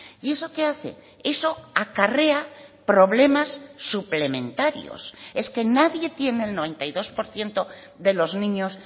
y eso qué hace eso acarrea problemas suplementarios es que nadie tiene el noventa y dos por ciento de los niños